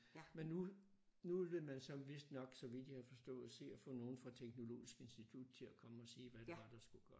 Men nu nu ville man så vistnok så vidt jeg har forstået se at få nogle fra teknologisk institut til at komme og sige hvad det var der skulle gøres